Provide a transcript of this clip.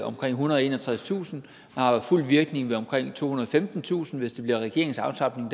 omkring ethundrede og enogtredstusind har fuld virkning ved omkring tohundrede og femtentusind hvis det bliver regeringens aftrapning